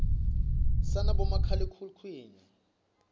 sanabomakhalekhukhutini